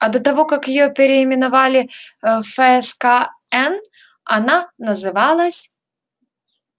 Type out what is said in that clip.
а до того как её переименовали в фскн она называлась